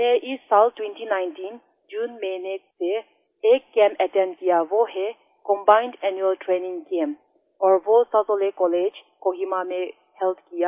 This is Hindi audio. मैंने इस साल 2019 जून महीने से एक कैंप अटेंड किया वो है कम्बाइंड एनुअल ट्रेनिंग कैम्प और वो सेजोलिकॉलेज कोहिमा में हेल्ड किया